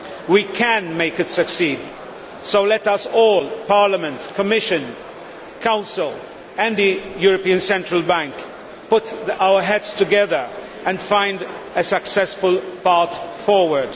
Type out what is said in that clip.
We can make it succeed, so let us all Parliament, Commission, Council and the European Central Bank put our heads together and find a successful path forward.